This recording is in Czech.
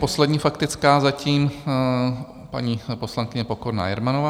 Poslední faktická zatím paní poslankyně Pokorná Jermanová.